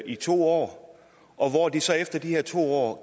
i to år og hvor de så efter de her to år